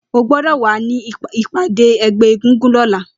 Ó gbọdọ wà ni ipàdé ẹgbẹ égúngún lọ̀lá